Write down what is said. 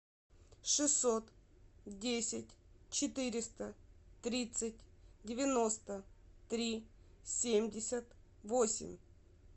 шестьсот десять четыреста тридцать девяносто три семьдесят восемь